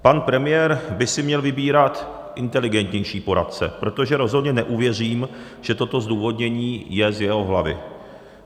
Pan premiér by si měl vybírat inteligentnější poradce, protože rozhodně neuvěřím, že toto zdůvodnění je z jeho hlavy.